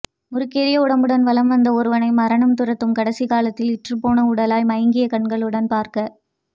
முறுக்கேறிய உடம்புடன் வலம் வந்த ஒருவனை மரணம் துரத்தும் கடைசி காலத்தில் இற்றுப்போன உடலாய் மங்கிய கண்களுடன் பார்க்க